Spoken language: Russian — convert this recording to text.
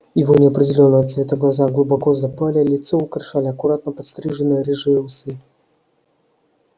его неопределённого цвета глаза глубоко запали лицо украшали аккуратно подстриженные рыжие усы